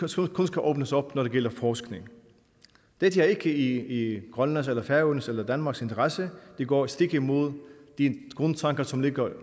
som kun skal åbnes op når det gælder forskning dette er ikke i grønlands eller færøernes eller danmarks interesse det går stik imod de grundtanker som ligger